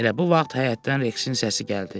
Elə bu vaxt həyətdən Reksin səsi gəldi.